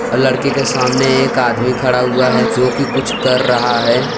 लड़की के सामने एक आदमी खड़ा हुआ है जो कि कुछ कर रहा है।